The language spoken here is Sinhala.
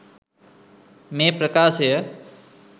මේ ප්‍රකාශය